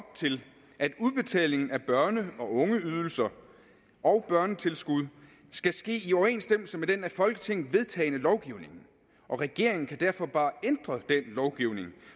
til at udbetaling af børne og ungeydelser og børnetilskud skal ske i overensstemmelse med den af folketinget vedtagne lovgivning og regeringen kan derfor bare ændre lovgivning